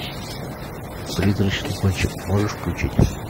призрачный гонщик можешь включить